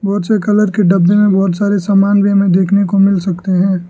बहोत से कलर के डब्बे में बहोत सारे सामान भी हमें देखने को मिल सकते हैं।